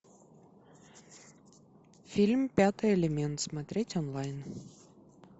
фильм пятый элемент смотреть онлайн